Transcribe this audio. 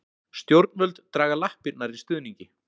Stjórnvöld draga lappirnar í stuðningi